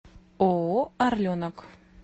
ооо орленок